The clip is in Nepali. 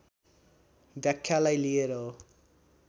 व्याख्यालाई लिएर हो